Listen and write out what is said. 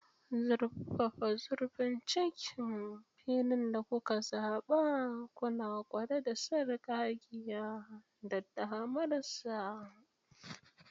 Zurfafa zurfin cikin filin da kuka zaɓa, kuna ƙware da sarƙaƙƙiya da damarsa.